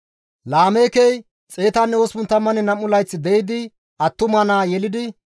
Laameekey 182 layth de7idi attuma naa yelidi,